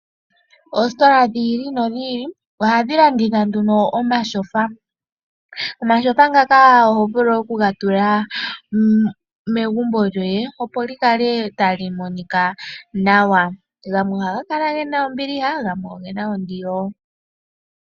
Oositola dhi ili nodhi ili ohadhi landitha omatyofa, omatyofa ngaka oho vulu oku ga tula megumbo lyoye, opo li kale tali monika nawa. Gamwe ohaga kala gena ombiliha gamwe ogena ondilo.